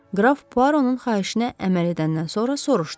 Qraf Puaronun xahişinə əməl edəndən sonra soruşdu: